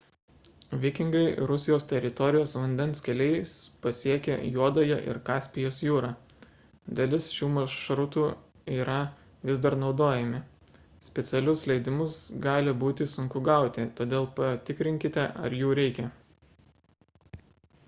vikingai rusijos teritorijos vandens keliais pasiekė juodąją ir kaspijos jūrą dalis šių maršrutų yra vis dar naudojami specialius leidimus gali būti sunku gauti todėl patikrinkite ar jų reikia